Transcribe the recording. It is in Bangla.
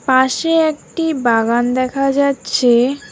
পাশে একটি বাগান দেখা যাচ্ছে।